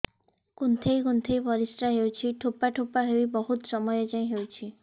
କୁନ୍ଥେଇ କୁନ୍ଥେଇ ପରିଶ୍ରା ହଉଛି ଠୋପା ଠୋପା ହେଇ ବହୁତ ସମୟ ଯାଏ ହଉଛି